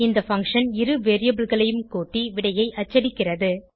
இந்த பங்ஷன் இரு variableகளையும் கூட்டி விடையை அச்சடிக்கிறது